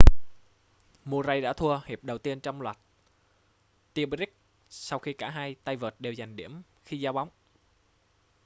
murray đã thua hiệp đầu tiên trong loạt tie-break sau khi cả hai tay vợt đều giành điểm khi giao bóng